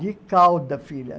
De cauda, filha.